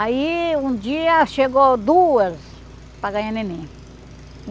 Aí um dia chegou duas para ganhar neném.